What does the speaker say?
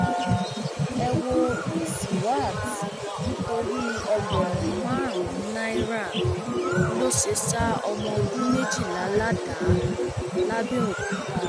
ẹ wo isiwát nítorí ẹgbẹrún márùnún náírà ló ṣe ṣa ọmọ ọdún méjìlá ládàá làbẹòkúta